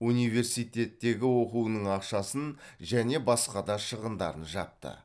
университеттегі оқуының ақшасын және басқа да шығындарын жапты